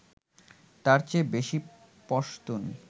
তাঁর চেয়ে বেশি পশতুন